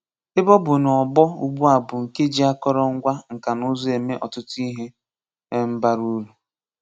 Ebe ọ bụ̀ na ọgbọ ụ̀gbụ́a bụ nke jí àkòrò ngwa nka na ùzù́ eme ọ̀tùtù ihe um bara uru.